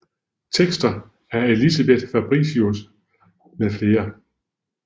Tekster af Elisabeth Fabritius med flere